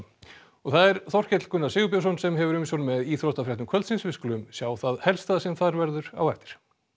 það er Þorkell Gunnar Sigurbjörnsson sem hefur umsjón með íþróttafréttum kvöldsins við skulum sjá það helsta sem þar verður á eftir